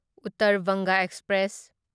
Uttar Banga express